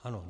Ano.